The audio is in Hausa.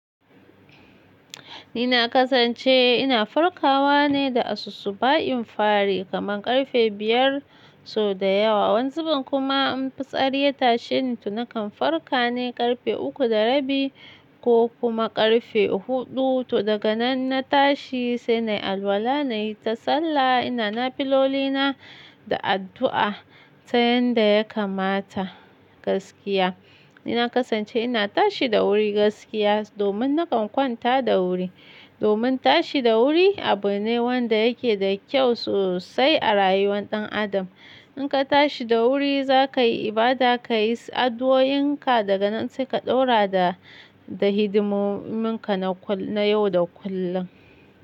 Ni na kasance ina farkawa ne da asusu ba in fari kaman karfe biyar sau da yawa, wani zubin kuma in fitsari ya tashi ni to nakan farka ne ƙarfe uku da rabi ko kuma karfe hudu to daga nan na tashi sai na yi alwala, na yi ta sallah ina na filoli na da addu'a ta yanda ya kamata gaskiya. Ni na kasance ina tashi da wuri gaskiya domin nakan kwanta da wuri. Domin tashi da wuri abu ne wanda yake da kyau sosai a rayuwar ɗan adam. In ka tashi da wuri za ka yi ibada, ka yi addu'oin ka daga nan sai ka ɗaura da, da hidimun ka na kullum, na yau da kullum.